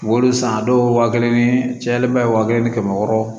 Wolo san dɔw wa kelen ni tiɲalenba ye waa kelen ni kɛmɛ wɔɔrɔ